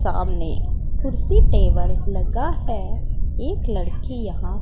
सामने कुर्सी टेबल लगा है एक लड़की यहां--